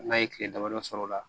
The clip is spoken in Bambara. N'a ye tile damadɔ sɔrɔ o la